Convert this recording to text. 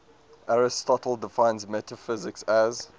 aristotle defines metaphysics as